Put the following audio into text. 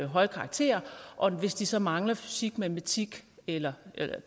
høje karakterer og hvis de så mangler fysik matematik eller